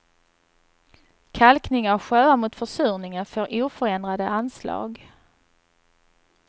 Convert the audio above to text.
Kalkning av sjöar mot försurningen får oförändrade anslag.